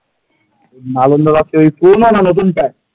নালন্দা রাজ্যের পুরনো না নতুন টাই?